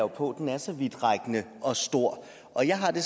på at den er så vidtrækkende og stor og jeg har det